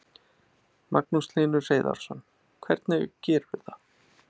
Magnús Hlynur Hreiðarsson: Hvernig gerirðu það?